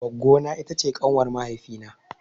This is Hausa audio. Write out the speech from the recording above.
Goggo na ita ce ƙanwar mahaifi na.